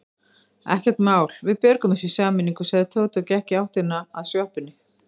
Ekkert mál, við björgum þessu í sameiningu sagði Tóti og gekk í áttina að sjoppunni.